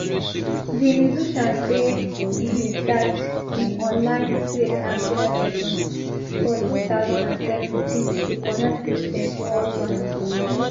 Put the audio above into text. di musician say e bin start im online praise and prayer sessions for two thousand and seventeen to connect christians worldwide